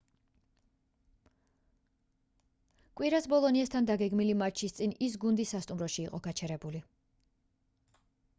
კვირას ბოლონიასთან დაგეგმილი მატჩის წინ ის გუნდის სასტუმროში იყო გაჩერებული